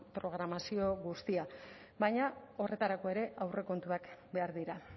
programazio guztiak baina horretarako ere aurrekontuak behar dira